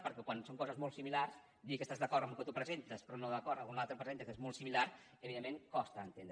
perquè quan són coses molt similars dir que estàs d’acord amb el que tu presentes però no d’acord amb el que un altre presenta que és molt similar evidentment costa d’entendre